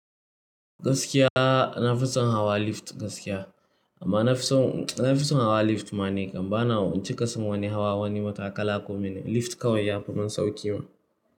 Gaskiya na fi son hawa lift gaskiya, amma na fi son, na fi son hawa lift ma ni kam bana ban cika san wani hawa wani matakala ko mene. Lift kawai ya fi min sauƙi ma.